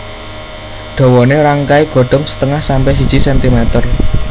Dawané rangkai Godhong setengah sampe siji sentimer